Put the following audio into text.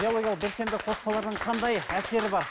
биологиялық белсенді қоспалардың қандай әсері бар